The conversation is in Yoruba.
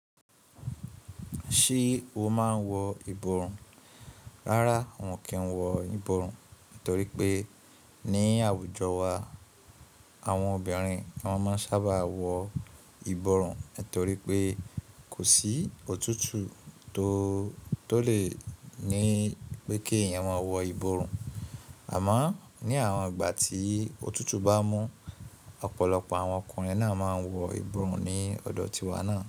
Ṣé o máa ń wọ ìborùn? Rárá, wọn kì í wọ ìborùn, nítorí pé ní àwùjọ wa àwọn obìnrin wọn máa ń sábà wọ ìborùn nítorí pé kò sí òtútù tó tó lè ní pé kí eyan mo wọ ìborùn. Àmá ní àwọn ìgbà tí òtútù bá mú ọ̀pọ̀lọpọ̀ àwọn ọkùnrin náà máa ń wọ ìborùn ní ọ̀dọ̀ tiwa náà.